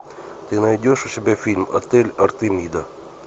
ты найдешь у себя фильм отель артемида